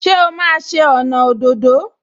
Ṣé o máa ṣe ọnà òdòdó?